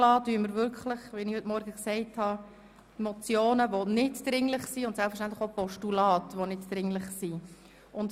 Wie ich heute Morgen gesagt habe, werden wir lediglich die Motionen und Postulate, die nicht dringlich sind, verschieben.